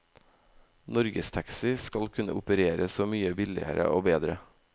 Norgestaxi skal kunne operere så mye billigere og bedre.